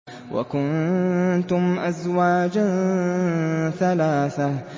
وَكُنتُمْ أَزْوَاجًا ثَلَاثَةً